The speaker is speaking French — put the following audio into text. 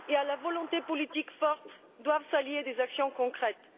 À la volonté politique forte il faut allier des actions concrètes.